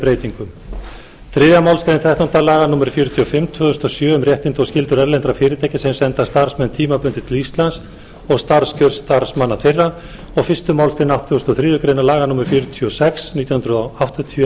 breytingum þriðju málsgrein þrettándu grein laga númer fjörutíu og fimm tvö þúsund og sjö um réttindi og skyldur erlendra fyrirtækja sem senda starfsmenn tímabundið til íslands og starfskjör starfsmanna þeirra og fyrstu málsgreinar áttugustu og þriðju grein laga númer fjörutíu og sex nítján hundruð áttatíu um